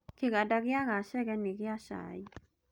Kĩganda gĩa Gachege nĩ kĩa cai.